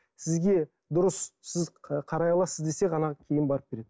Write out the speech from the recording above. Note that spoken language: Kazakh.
сізге дұрыс сіз қарай аласыз десе ғана кейін барып береді